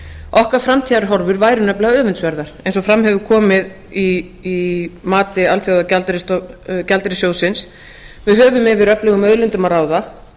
okkar framtíðarhorfur væru nefnilega öfundsverðar eins og fram hefur komið í mati alþjóðagjaldeyrissjóðsins við höfum yfir öflugum auðlindum að ráða